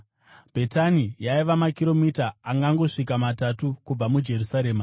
Bhetani yaiva makiromita angangosvika matatu kubva muJerusarema,